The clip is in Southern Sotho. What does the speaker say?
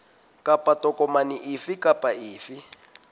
kapa tokomane efe kapa efe